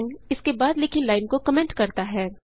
चिन्ह इसके बाद लिखी लाइन को कमेंट करता है